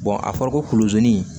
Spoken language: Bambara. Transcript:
a fɔra ko kuluzoni